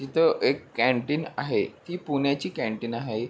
तिथं एक कँटिन आहे ती पुण्याची कँटिन आहे.